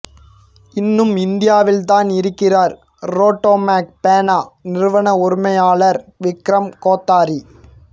இன்னும் இந்தியாவில்தான் இருக்கிறார் ரோட்டோமேக் பேனா நிறுவன உரிமையாளர் விக்ரம் கோத்தாரி